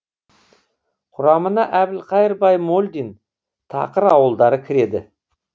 құрамына әбілқайыр баймолдин тақыр ауылдары кіреді